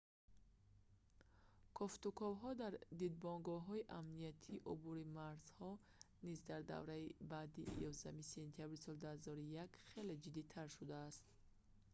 кофтуковҳо дар дидбонгоҳҳои амниятии убури марзҳо низ дар давраи баъди 11 сентябри соли 2001 хеле ҷиддитар шудааст